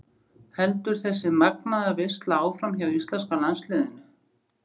Heldur þessi magnaða veisla áfram hjá íslenska landsliðinu?